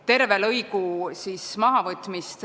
Terve lõigu mahavõtmist ...